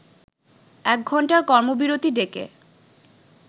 একঘণ্টার কর্মবিরতি ডেকে